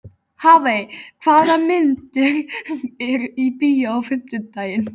Hafey, hvaða myndir eru í bíó á fimmtudaginn?